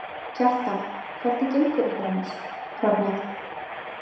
Kjartan: Hvernig gengur ykkur annars, Ragnheiður?